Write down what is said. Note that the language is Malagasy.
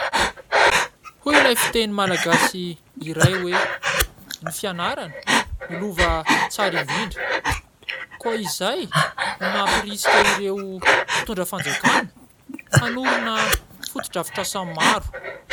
Hoy ilay fiteny malagasy iray hoe :" Ny fianarana no lova tsara indrindra." Koa izay no namporisika ireo mpitondra fanjakana hanorina fotodrafitrasa maro.